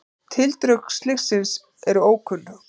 Tildrög slyssins eru ókunn